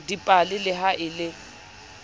dipale le ha e le